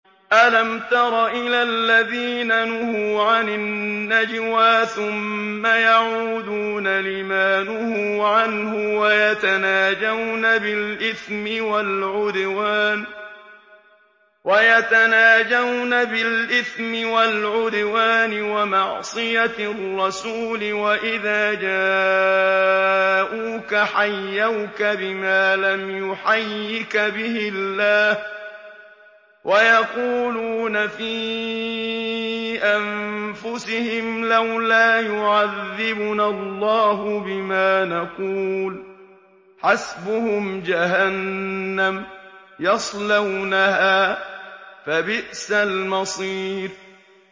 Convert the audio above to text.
أَلَمْ تَرَ إِلَى الَّذِينَ نُهُوا عَنِ النَّجْوَىٰ ثُمَّ يَعُودُونَ لِمَا نُهُوا عَنْهُ وَيَتَنَاجَوْنَ بِالْإِثْمِ وَالْعُدْوَانِ وَمَعْصِيَتِ الرَّسُولِ وَإِذَا جَاءُوكَ حَيَّوْكَ بِمَا لَمْ يُحَيِّكَ بِهِ اللَّهُ وَيَقُولُونَ فِي أَنفُسِهِمْ لَوْلَا يُعَذِّبُنَا اللَّهُ بِمَا نَقُولُ ۚ حَسْبُهُمْ جَهَنَّمُ يَصْلَوْنَهَا ۖ فَبِئْسَ الْمَصِيرُ